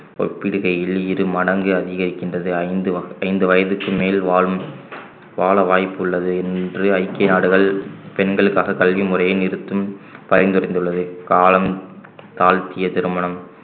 ஒப்பிடுகையில் இரு மடங்கு அதிகரிக்கின்றது ஐந்து வ~ ஐந்து வயதுக்கு மேல் வாழும் வாழ வாய்ப்புள்ளது என்று ஐக்கிய நாடுகள் பெண்களுக்காக கல்வி முறைய நிறுத்தும் பரிந்துரைந்துள்ளது காலம் தாழ்த்திய திருமணம்